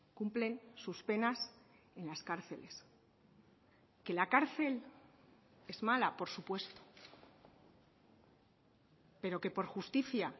cumplen sus penas en las cárceles que la cárcel es mala por supuesto pero que por justicia